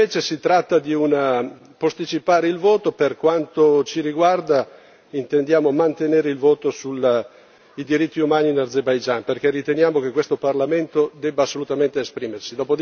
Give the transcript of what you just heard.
Se invece si tratta di posticipare il voto, per quanto ci riguarda, intendiamo mantenere il voto sui diritti umani in Azerbaigian, perché riteniamo che questo Parlamento debba assolutamente esprimersi.